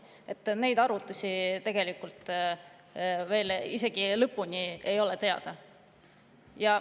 Nii et need arvutused ei ole tegelikult veel isegi lõpuni teada.